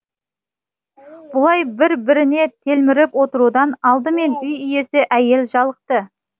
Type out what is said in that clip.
бұлай бір біріне телміріп отырудан алдымен үй иесі әйел жалықты